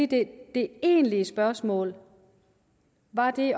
det egentlige spørgsmål var det